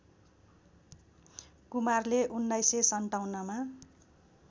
कुमारले १९५७ मा